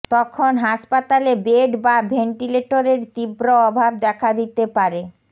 তখন হাসপাতালে বেড বা ভেন্টিলেটরের তীব্র অভাব দেখা দিতে পারে